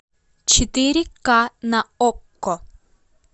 четыре ка на окко